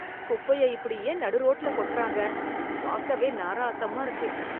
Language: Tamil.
குப்பைய இப்படி ஏன் நடு ரோட்ல கொட்றாங்க பாக்கவே நாராசமா இருக்கு